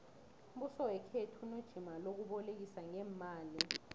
umbuso wekhethu unejima lokubolekisa ngeemali